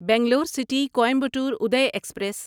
Bangalore city Coimbatore اڑے express